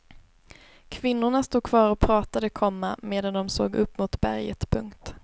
Kvinnorna stod kvar och pratade, komma medan de såg upp mot berget. punkt